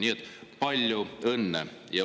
Nii et palju õnne!